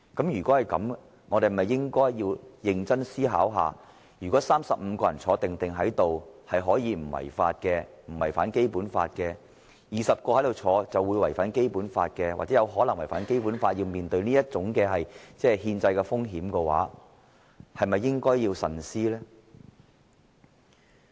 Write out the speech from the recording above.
如果是這樣，我們是否應該認真思考，如果35人在席不用違反《基本法》，而20人在席會違反或有可能違反《基本法》，令我們要面對這種憲制風險的話，我們是否應該慎思而行呢？